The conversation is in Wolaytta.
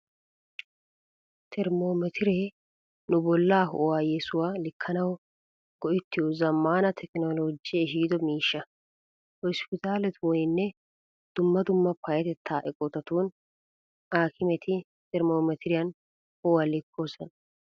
Termmometiree nu bollaa ho'uwaa yesuwaa likkanawu go'ettiyo zammaana tekinoloojee ehiido miishsha. Hospitaaletuuninne dumma dumma payyatettaa eqotatun aakimeti termmometiriyan ho'uwaa likkoosona.